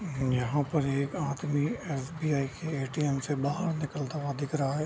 यहाँ पर एक आदमी एस.बी.आई. के ए.टी.एम. से बाहर निकलता हुआ दिख रहा है।